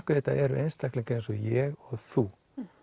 þetta eru einstaklingar eins og ég og þú